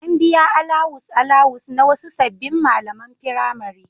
An biya alawus-alawus na wasu sabbin malaman firamare.